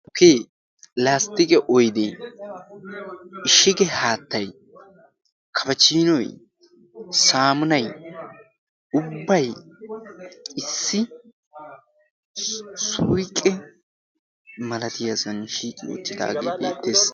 tukkee Laasttiqe oydu ishige haattay kafachinoy saamunay ubbay issi suyqqe malatiyaasuani shiiqi oottidaagee beettees.